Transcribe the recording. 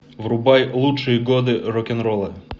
врубай лучшие годы рок н ролла